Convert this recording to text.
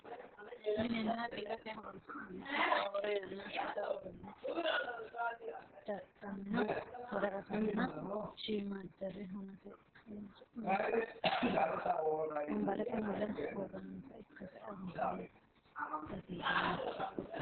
minenna biirote horonsi'nanniti roore yanna shota uduunne dadhamino woraqatanna shiimmaaddare hunate horonsi'nannita wonbarete mule worroonnita ikkase anfanni baseeti yaate .